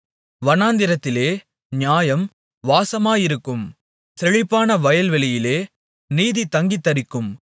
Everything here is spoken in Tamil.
வனாந்திரத்திலே நியாயம் வாசமாயிருக்கும் செழிப்பான வயல்வெளியிலே நீதி தங்கித்தரிக்கும்